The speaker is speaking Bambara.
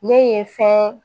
Ne ye fɛn